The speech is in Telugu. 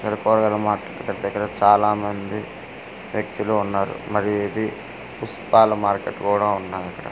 మార్కెట్ దెగ్గర చాలా మంది వ్యక్తులు ఉన్నారు మరి ఇది పుస్తకాల మార్కెట్ కూడా ఉన్నది ఇక్కడ పూల్--